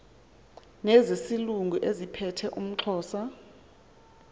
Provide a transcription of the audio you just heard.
nezaselungu eziphethe umxhosa